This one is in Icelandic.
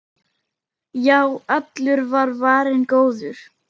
Já, allur var varinn góður!